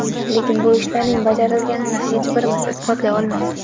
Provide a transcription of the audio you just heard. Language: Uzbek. Lekin bu ishlarning bajarilganini hech birimiz isbotlay olmaymiz.